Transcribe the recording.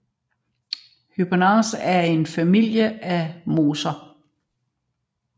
Hypnaceae er en familie af mosser